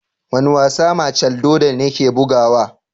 Wane wasa machel jordan yake bugawa?